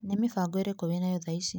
Nĩ mĩbango ĩrĩko wĩ nayo thaa ici?